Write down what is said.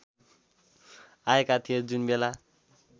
आएका थिए जुनबेला